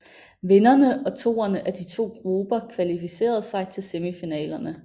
Vinderne og toerne af de to grupper kvalificerede sig til semifinalerne